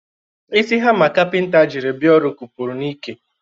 Isi hama kapinta jiri bia ọrụ kwụpụrụ n'ike.